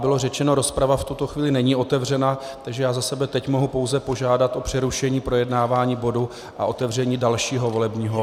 Bylo řečeno, rozprava v tuto chvíli není otevřena, takže já za sebe mohu teď pouze požádat o přerušení projednávání bodu a otevření dalšího volebního bodu.